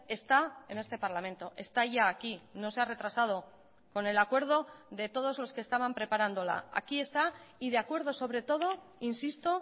está en este parlamento está ya aquí no se ha retrasado con el acuerdo de todos los que estaban preparándola aquí está y de acuerdo sobre todo insisto